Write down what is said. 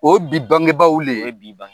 O bi bangebaw le ye.